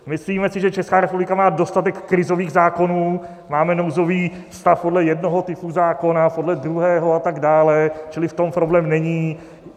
Myslíme si, že Česká republika má dostatek krizových zákonů, máme nouzový stav podle jednoho typu zákona, podle druhého a tak dále, čili v tom problém není.